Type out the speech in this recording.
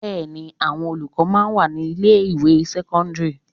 Bẹẹni àwọn olùkọ́ máa ń wà ní ilé ìwé sẹ́kọ́ńdírì.